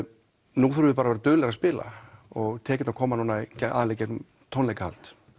nú þurfum við bara að vera duglegri að spila og tekjurnar koma núna aðallega í gegnum tónleikahald